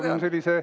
Jaa, ma tean!